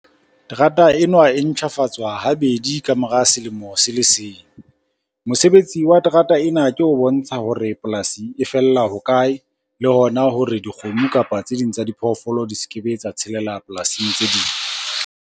Terata enwa e ntjhafatswa habedi kamora selemo se le seng. Mosebetsi wa terata ena ke ho bontsha hore polasi e fella hokae? Le hona hore dikgomo, kapa tse ding tsa diphoofolo di s'ke be tsa tshelela polasing tse ding.